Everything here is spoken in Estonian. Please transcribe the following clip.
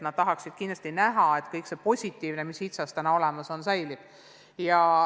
Nad tahaksid kindlasti, et kõik see positiivne, mis HITSA-s olemas on, säilib.